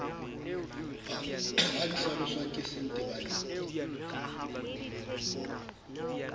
ha di hlaloswa ke sentebaleng